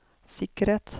sikkerhet